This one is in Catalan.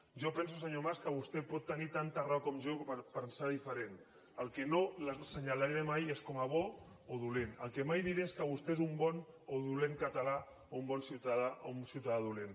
jo penso senyor mas que vostè pot tenir tanta raó com jo per pensar diferent el que no l’assenyalaré mai és com a bo o dolent el que mai diré és que vostè és un bon o dolent català o un bon ciutadà o un ciutadà dolent